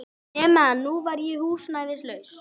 Nema að nú var ég húsnæðislaus.